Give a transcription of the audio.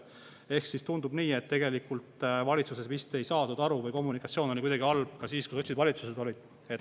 Ehk tundub nii, et tegelikult valitsuses vist ei saadud aru või kommunikatsioon oli kuidagi halb, ka siis, kui sotsid valitsuses olid.